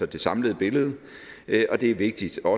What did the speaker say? det samlede billede og det er vigtigt